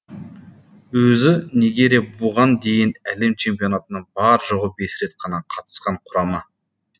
өзі нигерия бұған дейін әлем чемпионатына бар жоғы бес рет қана қатысқан құрама